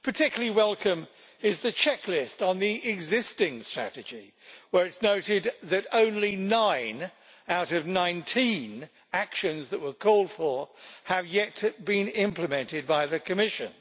Particularly welcome is the checklist on the existing strategy, where it is noted that only nine out of 19 actions that were called for have so far been implemented by the Commission.